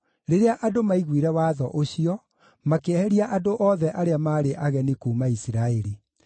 Rĩrĩa andũ maaiguire watho ũcio, makĩeheria andũ othe arĩa maarĩ ageni kuuma Isiraeli.